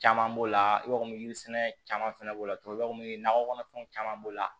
Caman b'o la i b'a fɔ yiri sɛnɛ caman fɛnɛ b'o la tubabu nɔgɔ kɔnɔfɛnw caman b'o la